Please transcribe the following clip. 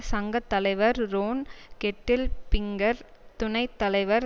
சங்க தலைவர் Ron Kettle Pinker துணை தலைவர்